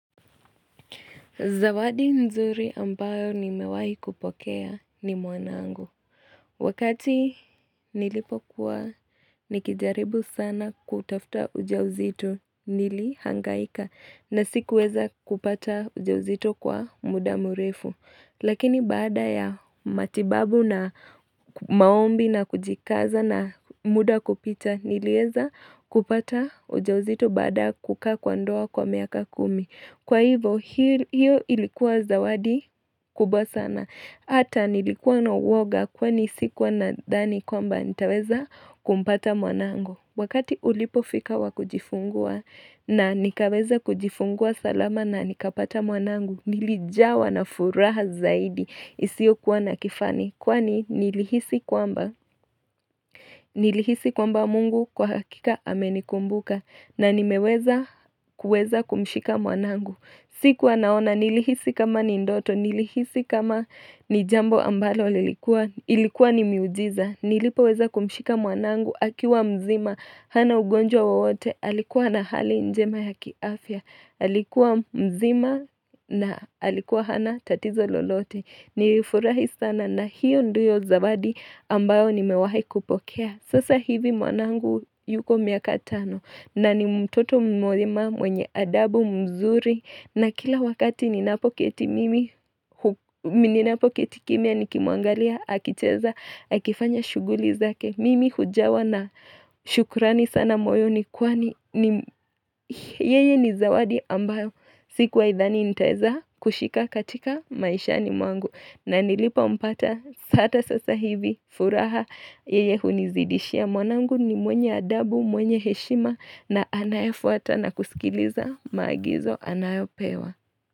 Zawadi nzuri ambayo nimewahi kupokea ni mwanangu. Wakati nilipokuwa nikijaribu sana kutafuta ujauzito nilihangaika na sikuweza kupata ujauzito kwa muda mrefu. Lakini baada ya matibabu na maombi na kujikaza na muda kupita niliweza kupata ujauzito baada kukaa kwa ndoa kwa miaka kumi. Kwa hivyo, hiyo ilikuwa zawadi kubwa sana. Hata nilikuwa na uoga kwani sikuwa nadhani kwamba nitaweza kumpata mwanangu. Wakati ulipofika wa kujifungua na nikaweza kujifungua salama na nikapata mwanangu, nilijawa na furaha zaidi. Isiyokuwa na kifani kwani nilihisi kwamba mungu kwa hakika amenikumbuka na nimeweza kumshika mwanangu. Siku anaona nilihisi kama ni ndoto, nilihisi kama ni jambo ambalo lilikuwa ni miujiza, nilipoweza kumshika mwanangu akiwa mzima, hana ugonjwa wowote, alikuwa na hali njema ya kiafya. Alikuwa mzima na alikuwa hana tatizo lolote. Nilifurahi sana na hiyo ndiyo zawadi ambayo nimewahi kupokea, sasa hivi mwanangu yuko miaka tano na ni mtoto mwema mwenye adabu mzuri na kila wakati ninapoketi kimya nikimuangalia akicheza akifanya shughuli zake. Mimi hujawa na shukrani sana moyoni kwani yeye ni zawadi ambayo sikuwahi dhani nitaweza kushika katika maishani mwangu. Na nilipompata hata sasa hivi furaha yeye hunizidishia mwanangu ni mwenye adabu, mwenye heshima na anayefuata na kusikiliza maagizo anayopewa.